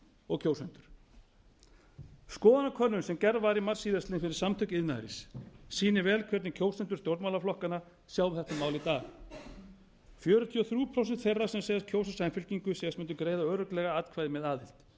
og kjósendur skoðanakönnun sem gerð var í mars síðstliðnum fyrir samtök iðnaðarins sýnir vel hvernig kjósendur stjórnmálaflokkanna sjá þetta mál í dag fjörutíu og þrjú prósent þeirra sem segjast kjósa samfylkingu segjast mundu greiða örugglega atkvæði með aðild